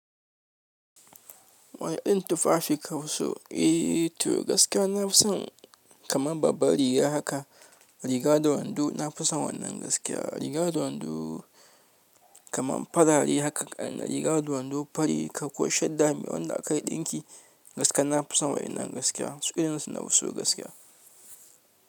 Wayanna irin tufafi kafi so? Eh to gaskiya na fi son kamar babba riga haka. Riga da wando na fi son wannan gaskiya, riga da wando kamar farare haka riga da wando fari ka kwashe dami wanda aka yi ɗinki gaskiya na fi son wannan gaskiya su ɗin su na fi so gaskiya.